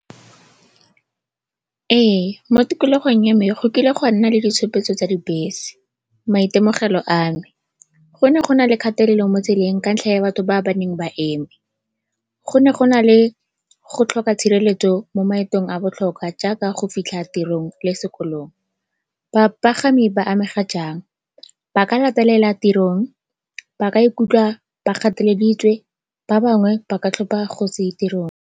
Ee, mo tikologong ya me go kile ga nna le ditshupetso tsa dibese. Maitemogelo a me, go ne go na le kgatelelo mo tseleng ka ntlha ya batho ba ba neng ba eme, go ne go na le go tlhoka tshireletso mo maetong a a botlhokwa jaaka go fitlha tirong le sekolong. Bapagami ba amega jang? Ba ka latelela tirong, ba ka ikutlwa ba pateleditswe, ba bangwe ba ka tlhopa go se ye tirong.